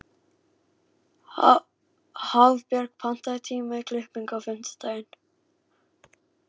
Hafbjörg, pantaðu tíma í klippingu á fimmtudaginn.